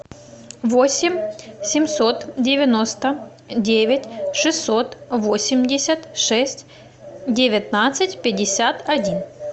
восемь семьсот девяносто девять шестьсот восемьдесят шесть девятнадцать пятьдесят один